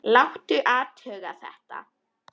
Láta athuga þetta.